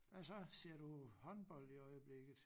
Hvad så ser du håndbold i øjeblikket?